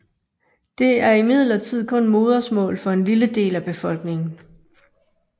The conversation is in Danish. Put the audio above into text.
Det er imidlertid kun modersmål for en lille del af befolkningen